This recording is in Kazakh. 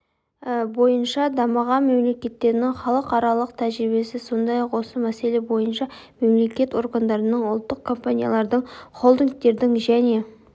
бойынша дамыған мемлекеттердің халықаралық тәжірибесі сондай-ақ осы мәселе бойынша мемлекеттік органдардың ұлттық компаниялардың холдингтердің және